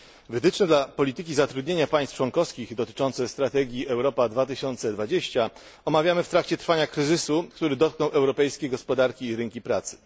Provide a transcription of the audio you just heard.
Wytyczne polityki zatrudnienia państw członkowskich dotyczące strategii Europa 2020 są przez nas omawiane w trakcie trwania kryzysu, który dotknął europejskie gospodarki i rynki pracy.